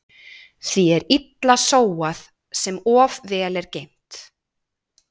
Því er illa sóað sem of vel er geymt.